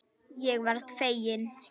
Ég varð fegin.